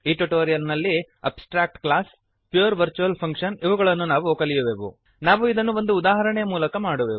ಈ ಟ್ಯುಟೋರಿಯಲ್ ನಲ್ಲಿ abstract class pure virtual function ಇವುಗಳನ್ನು ನಾವು ಕಲಿಯುವೆವು ನಾವು ಇದನ್ನು ಒಂದು ಉದಾಹರಣೆಯ ಮೂಲಕ ಮಾಡುವೆವು